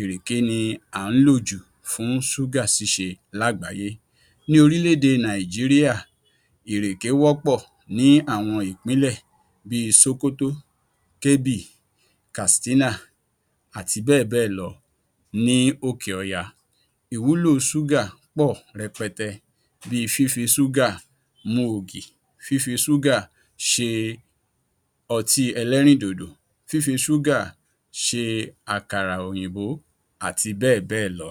ìrèké ni à ń lò jù fún ṣúgà ṣíṣe lágbàáyé. Ní orílẹ̀ èdè Nàìjíríà, ìrèké wọ́pọ̀ ní àwọn ìpínlẹ̀ bíi sókótó, Kébì, Kàstínà, àti bẹ́ẹ̀bẹ́ẹ̀lọ ní òkè ọya. Ìwúlò ṣúgà pọ̀ rẹpẹtẹ bíi fífi ṣúgà mu ògì, fífi ṣúgà ṣe ọtí ẹlẹ́rìndòdò fífi ṣúgà ṣe àkàrà òyìnbó àti bẹ́ẹ̀bẹ́ẹ̀lọ.